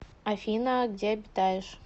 афина где обитаешь